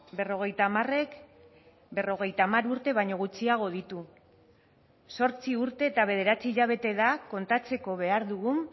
berrogeita hamarek berrogeita hamar urte baino gutxiago ditu zortzi urte eta bederatzi hilabete da kontatzeko behar dugun